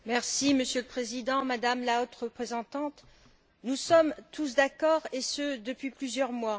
Monsieur le Président, Madame la Haute représentante, nous sommes tous d'accord, et ce depuis plusieurs mois.